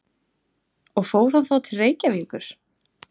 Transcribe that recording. Og fór hann þá til Reykjavíkur?